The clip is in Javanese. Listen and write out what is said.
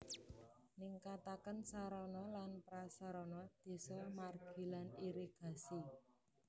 Ningkataken sarana lan prasarana deso margi lan irigasi